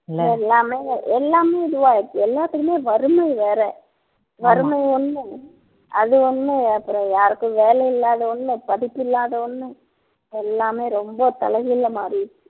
எல்லாமே எல்லாமே இதுவாயிடுச்சு எல்லாத்துக்குமே வறுமை வேற வறுமை ஒண்ணு அது ஒண்ணு அப்புறம் யாருக்கும் வேலை இல்லாத ஒண்ணு படிப்பில்லாத ஒண்ணு எல்லாமே ரொம்ப தலைகீழா மாறிடுச்சு